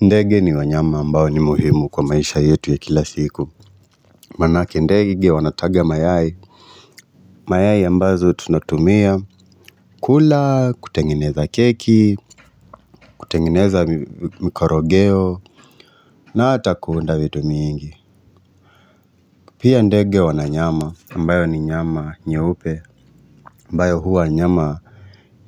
Ndege ni wanyama ambao ni muhimu kwa maisha yetu ya kila siku manake ndege wanataga mayai, mayai ambazo tunatumia kula kutengeneza keki kutengeneza mikorogeo na hata kuunda vitu mingi pia ndege wana nyama ambayo ni nyama nyeupe ambayo huwa nyama